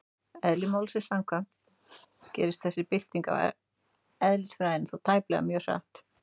Eðli málsins samkvæmt gerist þessi bylting á eðlisfræðinni þó tæplega mjög hratt.